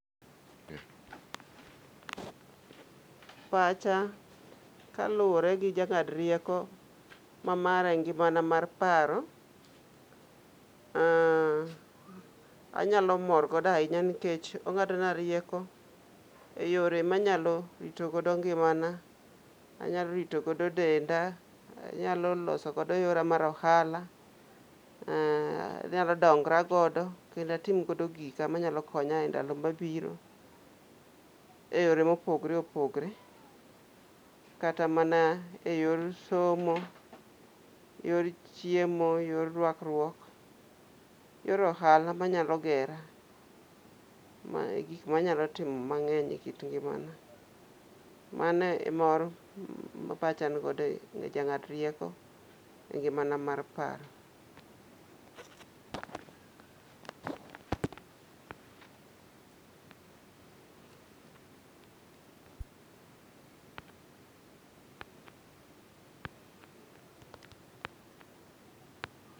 Pacha kaluwore gi jang'ad rieko mamara e ngimana mar paro, anyalo morgodo ahinya nikech ong'adona rieko e yore manyalo ritogodo ngimana, anyalo ritogodo denda, anyalo losogodo yora mar ohala. Anyalo dongra godo kendatim godo gika manyalo konya e ndalo mabiro, e yore mopogre opogre. Kata mana e yor some, yor chiemo, yor rwakruok, yor ohala manyalo gera. Gik manyalo timo mang'eny ekit ngimana, mano e mor ma pacha nigodo jang'adrieko e ngimana mar paro.